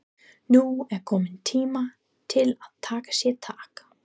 Nú er kominn tími til að taka sér tak.